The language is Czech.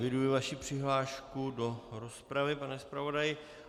Eviduji vaši přihlášku do rozpravy, pane zpravodaji.